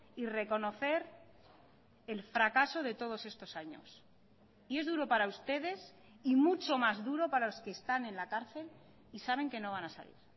y reconocer el fracaso de todos estos años y es duro para ustedes y mucho más duro para los que están en la cárcel y saben que no van a salir